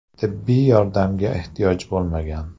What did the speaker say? Tibbiy yordamga ehtiyoj bo‘lmagan.